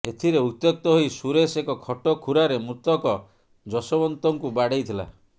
ଏଥିରେ ଉତ୍ତ୍ୟକ୍ତ ହୋଇ ସୁରେଶ ଏକ ଖଟ ଖୁରାରେ ମୃତକ ଯଶୋବନ୍ତଙ୍କୁ ବାଡେଇଥିଲା